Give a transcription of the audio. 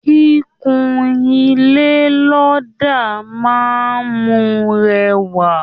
Kíkún ilé lọdà máa n mú rẹwa.